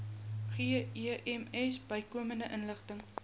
gems bykomende inligting